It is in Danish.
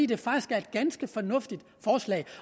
det faktisk er et ganske fornuftigt forslag